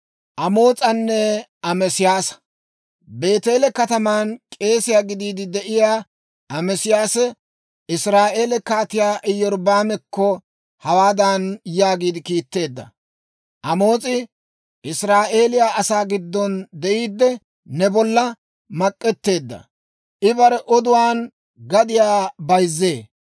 Beeteele kataman k'eesiyaa gidiide de'iyaa Ameesiyaasee Israa'eeliyaa Kaatiyaa Iyorbbaamekko hawaadan yaagiide kiitteedda; «Amoos'i Israa'eeliyaa asaa giddon de'iidde, ne bolla mak'k'eteedda; I bare oduwaan gadiyaa bayzzee.